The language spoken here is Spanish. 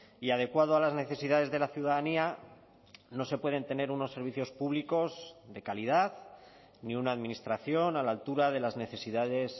y adecuado a las necesidades de la ciudadanía no se pueden tener unos servicios públicos de calidad ni una administración a la altura de las necesidades